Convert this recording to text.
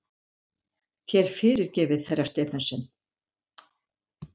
Þér fyrirgefið, herra Stephensen!